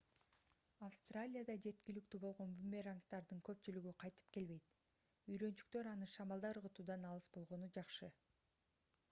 австралияда жеткиликтүү болгон бумерангдардын көпчүлүгү кайтып келбейт үйрөнчүктөр аны шамалда ыргытуудан алыс болгону жакшы